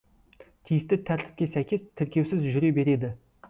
тиісті тәртіпке сәйкес тіркеусіз жүре береді